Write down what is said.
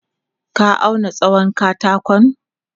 Ka auna tsawon katakon?